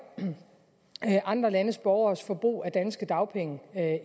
andre landes borgeres forbrug af danske dagpenge